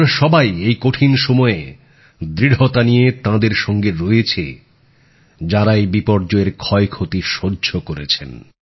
আমরা সবাই এই কঠিন সময়ে দৃঢ়তা নিয়ে তাঁদের সঙ্গে রয়েছি যাঁরা এই বিপর্যয়ের ক্ষয়ক্ষতি সহ্য করেছেন